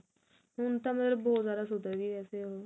ਹੁਣ ਤਾਂ ਮਲਬ ਬਹੁਤ ਜਿਆਦਾ ਸੁਧਰਗੇ